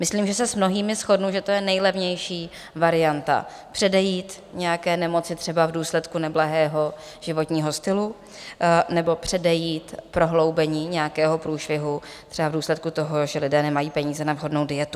Myslím, že se s mnohými shodnu, že to je nejlevnější varianta, předejít nějaké nemoci třeba v důsledku neblahého životního stylu, nebo předejít prohloubení nějakého průšvihu třeba v důsledku toho, že lidé nemají peníze na vhodnou dietu.